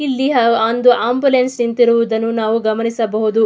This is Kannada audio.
ಇಲ್ಲಿ ಆಹ್ಹ್ ಒಂದು ಆಂಬುಲೆನ್ಸ್ ನಿಂತಿರುವುದನ್ನು ನಾವು ಗಮನಿಸಬಹುದು.